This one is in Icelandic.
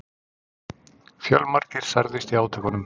Fjölmargir særðust í átökunum